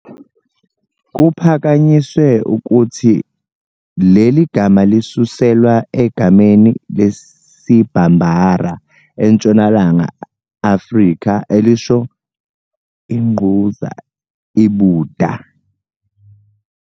Kuphakanyisiwe ukuthi leli gama lisuselwa egameni lesiBambara, eNtshonalanga Afrika, elisho ingquza, ibuda.